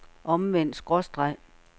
omvendt skråstreg